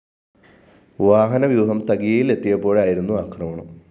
വാഹനവ്യൂഹം തകിയയില്‍ എത്തിയപ്പോഴായിരുന്നു ആക്രമണം